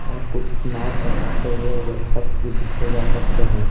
और कुछ नाव चलाते हुए वे शख्स भी देखे जा सकते हैं।